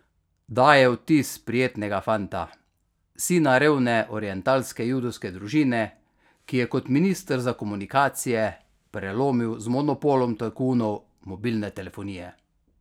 Daje vtis prijetnega fanta, sina revne orientalske judovske družine, ki je kot minister za komunikacije prelomil z monopolom tajkunov mobilne telefonije.